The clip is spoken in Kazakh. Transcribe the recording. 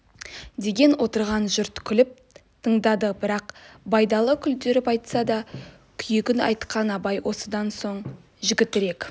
деген отырған жұрт күліп тыңдады бірақ байдалы күлдіріп айтса да күйігін айтқан абай осыдан соң жігітек